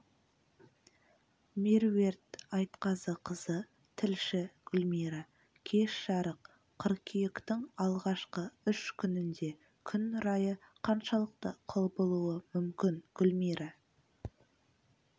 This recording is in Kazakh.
меруерт айтқазықызы тілші гүлмира кеш жарық қыркүйектің алғашқы үш күнінде күн райы қаншалықты құбылуы мүмкін гүлмира